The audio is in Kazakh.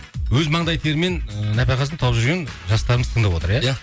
өз маңдай терімен нәпақасын тауып жүрген жастарымыз тыңдап отыр иә иә